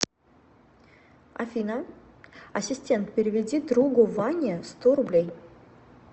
афина ассистент переведи другу ване сто рублей